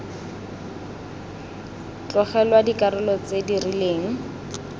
tlogelwa dikarolo tse di rileng